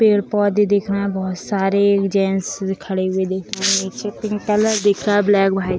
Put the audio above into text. पेड़-पौधे दिख रहे हैं बहोत सारे जेन्स खड़े हुए दिख रहें निचे पिंक कलर दिख रहा ब्लैक व्हाइ --